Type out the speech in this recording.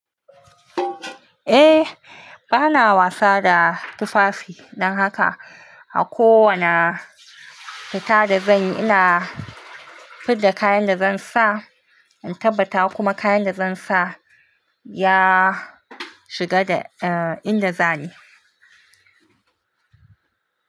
Eh bana wasa da tufafi dan haka a kowani fita da zanyi ina fit da kayan da zan sa in tabbata kuma kayan da zan sa ya shiga da inda zani.